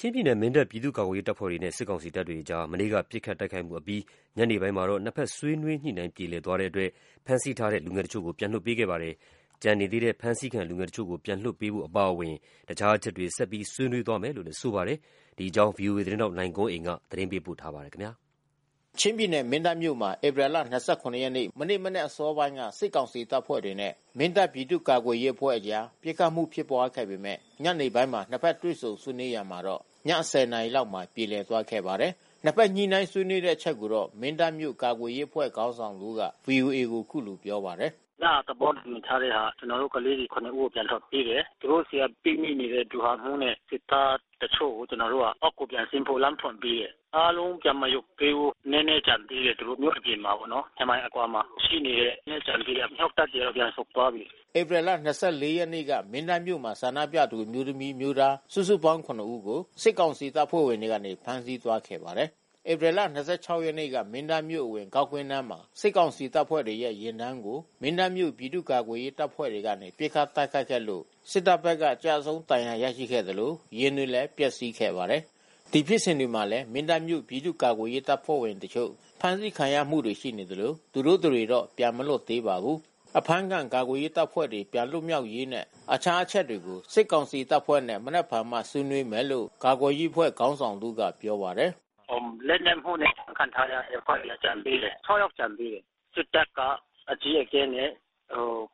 ချင်းပြည်နယ် မင်းတပ်ပြည်သူ့ကာကွယ်ရေးတပ်ဖွဲ့တွေနဲ့ စစ်ကောင်စီတပ်တွေအကြား မနေ့ပစ်ခတ် တိုက်ခိုက်မှု အပြီး ညနေပိုင်း နှစ်ဘက်အဖွဲ့ဆွေးနွေးညှိနှိုင်းချက်ပြေလည်သွားတဲ့အတွက် ဖမ်းဆီးထားတဲ့ လူငယ်တချို့ပြန်လွှတ်ပေးခဲ့ပါတယ်။ ကျန်ရှိနေသေးတဲ့ ဖမ်းဆီးထားတဲ့ လူငယ်တချို့ပြန်လွှတ်ပေးဖို့ အပါအဝင် တခြားတချက်တွေ ဆွေးနွေးသွားမယ်လို့လည်း ဆိုပါတယ်။ ဗွီအိုအေသတင်းထောက် ကိုနိုင်ကွန်းအိန်ကနေပြောပြပေးမှာပါ။ ချင်းပြည်နယ်၊ မင်းတပ်မြို့မှာ ဧပြီ ၂၇ မနေ့ မနက်အစောပိုင်းက စစ်ကောင်စီတပ်ဖွဲ့တွေနဲ့ မင်းတပ်ပြည်သူ့ ကာကွယ်ရေးအဖွဲ့အကြား ပစ်ခတ်မှု ဖြစ်ပွါးခဲ့ပေမဲ့ ညနေပိုင်းမှာ နှစ်ဘက်တွေ့ဆုံဆွေးနွေးရာမှာတော့ ည ၁၀ နာရီလောက်မှာ ပြေလည်သွားခဲ့ပါတယ်။ နှစ်ဘက်ညှိနှိုင်းဆွေးနွေးခဲ့တဲ့အချက်တွေကိုတော့ မင်းတပ်မြို့ကာကွယ်ရေးအဖွဲ့ခေါင်းဆောင်တဦးက ဗွီအိုအေကို အခုလိုပြောပါတယ်။ "ညက သဘောတူညီထားတဲ့ဟာ ကျနော်တို့ ကလေးတွေ ၇ ဦးကို ပြန်လွှတ်ပေးတယ်။ သူတို့ဆီက ပိတ်မိနေတဲ့ ဗျူဟာမှူးနဲ့ စစ်သားတချို့ကို ကျနော်တို့အောက်ကို ပြန်ဆင်းဖို့လမ်းဖွင့်ပေးတယ်။ အားလုံးပြန်မရုပ်သေးဘူး။ နည်းနည်း ကျန်သေးတယ်။ သူတို့ မြို့အပြင်မှာပေါ့နော်။ ၂ မိုင်အကွာမှာ ရှိနေတယ်။ နည်းနည်း ကျန်သေးတယ်။ အမြှောက်တပ် တွေတော့ပြန်ဆုတ်သွားပြီ။" ဧပြီလ ၂၄ ရက်နေ့က မင်းတပ်မြို့မှာ ဆန္ဒပြသူအမျိုးသမီး၊ အမျိုးသား စုစုပေါင်း ၇ ဦးကို စစ်ကောင်စီတပ်ဖွဲ့ဝင်တွေက ဖမ်းဆီးသွားခဲ့ပါတယ်။ ဧပြီလ ၂၆ ရက်နေ့က မင်းတပ်မြို့အဝင် ဂေါက်ကွင်းနားမှာ စစ်ကောင်စီတပ်ဖွဲ့တွေရဲ့ ယာဉ်တန်းကို မင်းတပ်မြို့ ပြည်သူ့ ကာကွယ်ရေးတပ်ဖွဲ့တွေကနေ ပစ်ခတ်တိုက်ခိုက်ခဲ့လို့ စစ်တပ်ဘက်က ကျဆုံးဒဏ်ရာရရှိခဲ့သလို ယာဉ်တွေလည်း ပျက်စီးခဲ့ပါတယ်။ ဒီဖြစ်စဉ်တွေမှာလည်း မင်းတပ်မြို့ ပြည်သူ့ ကာကွယ်ရေးတပ်ဖွဲ့တချို့ ဖမ်းဆီးခံရမှုတွေရှိနေသလို သူတို့တတွေတော့ ပြန်မလွတ်သေးပါဘူး။ အဖမ်းခံကာကွယ်ရေးတပ်ဖွဲ့တွေ ပြန်လွတ်မြောက်ရေးနဲ့တခြားအချက်တွေကို စစ်ကောင်စီတပ်ဖွဲ့နဲ့ မနက်ဖြန်မှ ဆွေးနွေးမယ်လို့ ကာကွယ်ရေးအဖွဲ့ခေါင်းဆောင်တဦးကပြောပါတယ်။ "လက်နက်မှုနဲ့ အဖမ်းခံထားရတဲ့အဖွဲ့တွေက ကျန်သေးတယ်။ ၆ ယောက်ကျန်သေးတယ်။ စစ်တပ်က အကြီးအကဲနဲ့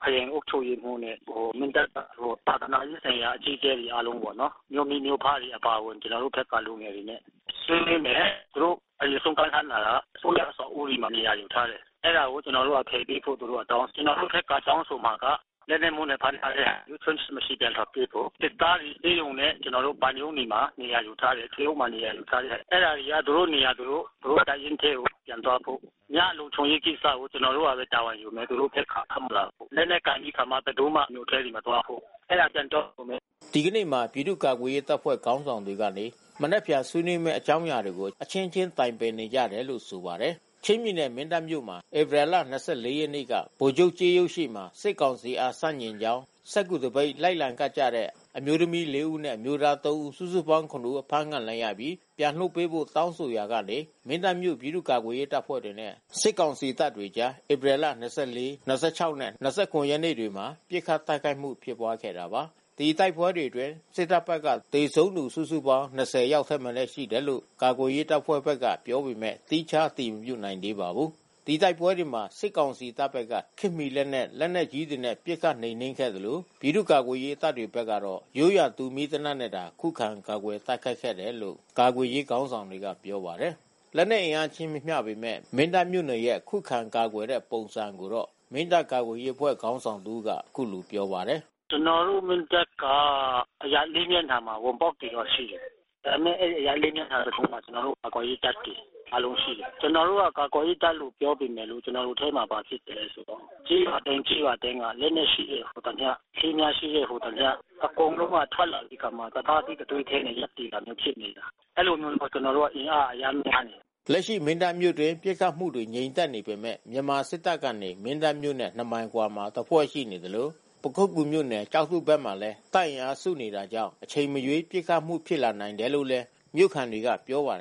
ခရိုင်အုပ်ချုပ်ရေးမှူးနဲ့ မင်းတပ်က သာသနာရေးဆိုင်ရာ အကြီးအကဲတွေ အားလုံးပေါ့နော်။ မြို့မိမြို့ဖတွေအပါအဝင် ကျနော်တို့ဘက်က လူငယ်တွေနဲ့ ဆွေးနွေးမယ်။ သူတို့အရင်ဆုတ်ခိုင်းထားတာက အစိုးရအဆောက်အဦးတွေမှာ နေရာယူထားတယ်။ အဲဒါတွေကိုဖယ်ပေးဖို့ သူတို့က တောင်းတယ်။ ကျနော်တို့ဘက်က တောင်းဆိုမှာက လက်နက်မှုနဲ့ ဖမ်းထားတဲ့သူ ချို့ယွင်းချက် မရှိပြန်လွှတ်ပေးဖို့။ စစ်သားတွေဆေးရုံနဲ့ ကျနော်တို့ ဘဏ်ရုံးတွေမှာ နေရာယူထားတယ် ထွေအုပ်မှာလည်း နေရာယူထားတယ်။ အဲဒါ သူတို့နေရာ၊ သူတို့တပ်ရင်းထဲကိုပြန်သွားဖို့။ ညလုံခြုံရေးကိစ္စကို ကျနော်တို့ကပဲ တာဝန်ယူမယ်။ သူတို့ဘက်က ထွက်မလာဖို့။ လက်နက်ကိုင်ပြီးခါမှ ဘယ်သူမှမြို့ထဲကို မသွားဖို့ အဲဒါပြန်တောင်းဆိုမယ်။" ဒီကနေ့မှာ ပြည်သူ့ ကာကွယ်ရေးတပ်ဖွဲ့ခေါင်းဆောင်တွေကနေ မနက်ဖြန်ဆွေးနွေးမယ့် အကြောင်းအရာတွေကို အချင်းချင်း တိုင်ပင်နေကြတယ်လို့ဆိုပါတယ်။ ချင်းပြည်နယ် မင်းတပ်မြို့မှာ ဧပြီလ ၂၄ ရက်နေ့က ဗိုလ်ချုပ်ကြေးရုပ်ရှေ့မှာ စစ်ကောင်စီအားဆန့်ကျင်ကြောင်း စက္ကူသပိတ်လိုက်လံကပ်ကြတဲ့ အမျိုးသမီး ၄ ဦးနဲ့ အမျိုးသား ၃ ဦး စုစုပေါင်း ၇ ဦး အဖမ်းခံခဲ့ရပြီး ပြန်လွှတ်ပေးဖို့ တောင်းဆိုခဲ့ရာကနေ မင်းတပ်မြို့ ပြည်သူ့ကာကွယ်ရေးတပ်ဖွဲ့တွေနဲ့ အစစ်ကောင်စီတပ်များအကြား ဧပြီလ ၂၄၊ ၂၆ နှင့် ၂၇ ရက်နေ့တို့မှာ ပစ်ခတ်တိုက်ခိုက်မှု ဖြစ်ပွားခဲ့တာပါ။ ဒီတိုက်ပွဲတွေအတွင်း စစ်တပ်ဘက်က သေဆုံးသူ စုစုပေါင်း ၂၀ ယောက်ထက်မနည်း ရှိတယ်လို့ ကာကွယ်ရေး တပ်ဖွဲ့ဘက်က ပြောပေမဲ့ သီးခြားအတည်မပြုနိုင်သေးပါဘူး။ ဒီတိုက်ပွဲတွေမှာ စစ်ကောင်စီတပ်ဘက်က ခေတ်မီလက်နက် လက်နက်ကြီးတွေနဲ့ ပစ်ခတ်နှိမ်းနင်းခဲ့သလို ပြည်သူ့ ကာကွယ်ရေးတပ်ဖွဲ့တွေဘက်က ရိုးရာတူမီးသေနတ်နဲ့သာ ခုခံကာကွယ်တိုက်ခိုက်ခဲ့တယ်လို့ ကာကွယ်ရေး ခေါင်းဆောင်တွေကပြောပါတယ်။ လက်နက်အင်အားမမျှပေမဲ့ မင်းတပ်မြို့နယ်ရဲ့ ခုခံကာကွယ်တဲ့ပုံစံကိုတော့ မင်းတပ်ကာကွယ်ရေးအဖွဲ့ခေါင်းဆောင် တဦးကပြောပါတယ်။ "ကျနော်တို့ မင်းတပ်က အရပ် ၄ မျက်နှာမှာ ဝင်ပေါက်တွေတော့ ရှိတယ်။ ဒါပေမဲ့အရပ် ၄ မျက်နှာတခုလုံးမှာ ကျနော်တို့ ကာကွယ်ရေးတပ်တွေ အားလုံးရှိတယ်။ ကျနော်တို့က ကာကွယ်ရေးတပ်လို့ ပြောပေမဲ့လို့ ကျနော်တို့ထဲမှာ ဘာဖြစ်လဲဆိုတော့ ကျေးရွာတိုင်းကျေးရွာတိုင်းမှာ လက်နက်ရှိတဲ့ဟူသမျှ လေးမြှားရှိတဲ့ဟူသမျှ အကုန်လုံးက ထွက်လာပြီးကာမှ တသားထဲ၊ တသွေးထဲနဲ့ လက်သေတာမျိုးဖြစ်နေတာ။ အဲဒီလိုမျိုး ကျနော်တို့က အင်အားအရမ်း များတယ်။" လက်ရှိမင်းတပ်မြို့အတွင်း ပစ်ခတ်မှု ငြိမ်သက်နေပေမဲ့ မြန်မာစစ်တပ်ကနေ မင်းတပ်မြို့နဲ့ ၂ မိုင်အကွာမှာတဖွဲ့ရှိနေသလို၊ ပခုက္ကူမြို့နယ်၊ ကျောက်ထုဘက်မှာလည်း တပ်အင်အားစုနေတာကြောင့် အချိန်မရွေး ပစ်ခတ်မှု ဖြစ်လာနိုင်တယ်လို့လည်း မြို့ခံတွေကပြောပါတယ်